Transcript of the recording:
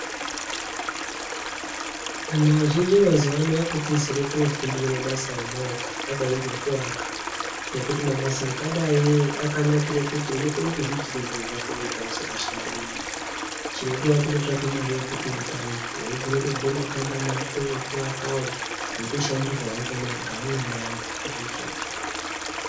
Vanhu azhinji mazuvano vakutizire kunofundira mabasa emaoko akadai ngekuaka ngekuti mabasa akadai akanakire kuti unokone kuzviitira zviro zvako wega usikashandiri munhu. Chinodiwa kungotsvake mare yekuti utange. Unogona kutovhure makambani ako ekuakawo, weitoshandirwawo ngaamweni anhu uchizviitire zviro zvako.